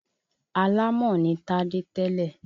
Alámọ̀ ní Tádé tẹ́lẹ̀.